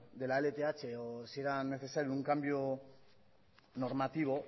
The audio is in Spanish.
de la lth o si era necesario un cambio normativo